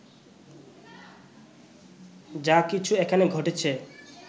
যা কিছু এখানে ঘটেছে